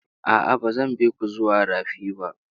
A'a, ba zan bi ku zuwa rafi ba.